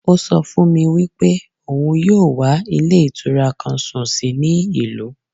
Ó so fún mi wípé òun yóò wá Ilé Ìtura kan sùn sí ní ìlú